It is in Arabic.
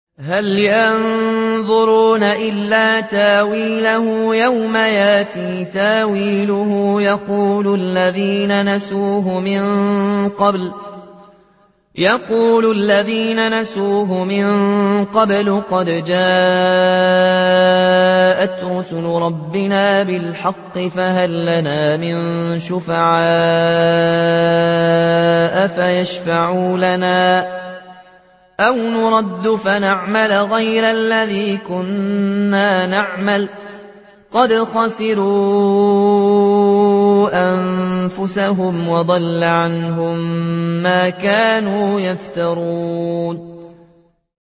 هَلْ يَنظُرُونَ إِلَّا تَأْوِيلَهُ ۚ يَوْمَ يَأْتِي تَأْوِيلُهُ يَقُولُ الَّذِينَ نَسُوهُ مِن قَبْلُ قَدْ جَاءَتْ رُسُلُ رَبِّنَا بِالْحَقِّ فَهَل لَّنَا مِن شُفَعَاءَ فَيَشْفَعُوا لَنَا أَوْ نُرَدُّ فَنَعْمَلَ غَيْرَ الَّذِي كُنَّا نَعْمَلُ ۚ قَدْ خَسِرُوا أَنفُسَهُمْ وَضَلَّ عَنْهُم مَّا كَانُوا يَفْتَرُونَ